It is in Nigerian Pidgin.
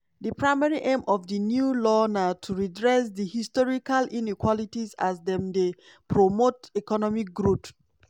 di primary aimof di new law na to redress di historical inequalities as dem dey promote economic growth.